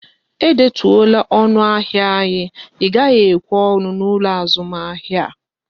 E detuola ọnụ ahịa anyi, Ị gaghị ekwe ọnụ n'ụlọ azụmahịa!